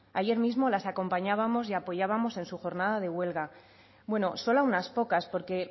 ayer mismo las acompañamos y apoyábamos en su jornada de huelga bueno solo a unas pocas porque